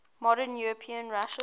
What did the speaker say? modern european russia